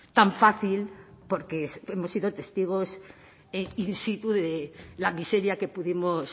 tan fácil porque hemos sido testigos in situ de la miseria que pudimos